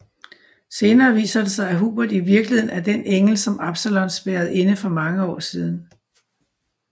Senere viser det sig at Hubert i virkeligheden er den engel som Absalon spærrede inde for mange år siden